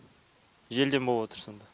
желден болыватр сонда